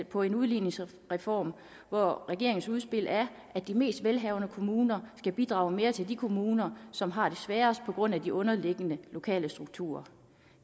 på en udligningsreform hvor regeringens udspil er at de mest velhavende kommuner skal bidrage mere til de kommuner som har det sværest på grund af de underliggende lokale strukturer